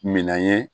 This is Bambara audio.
Minan ye